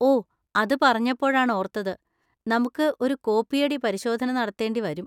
ഓ! അത് പറഞ്ഞപ്പോഴാണ് ഓർത്തത്, നമുക്ക് ഒരു കോപ്പിയടി പരിശോധന നടത്തേണ്ടി വരും.